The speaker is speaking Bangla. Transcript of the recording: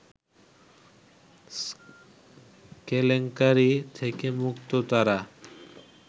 কেলেঙ্কারি থেকে মুক্ত তারা